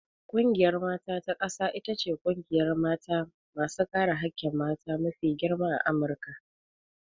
Ƙungiyar mata ta ƙasa ita ce ƙungiyar mata masu kare hakkin mata mafi girma a Amurika.